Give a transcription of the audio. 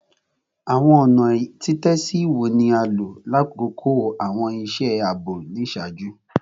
Awọn ọna titẹsi wo ni a lo lakoko awọn iṣẹ aabo iṣaaju?